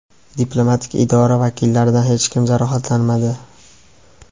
Diplomatik idora vakillaridan hech kim jarohatlanmadi.